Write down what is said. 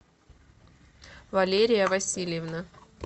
валерия васильевна